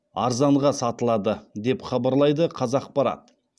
арзанға сатылады деп хабарлайды қазақпарат